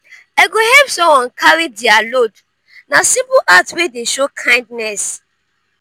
i go help someone carry dia load; na simple act wey dey show kindness.